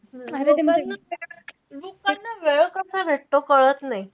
लोकांना वेळ कसा भेटतो कळत नाई.